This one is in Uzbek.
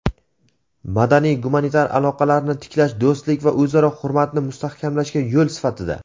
"Madaniy-gumanitar aloqalarni tiklash do‘stlik va o‘zaro hurmatni mustahkamlashga yo‘l sifatida".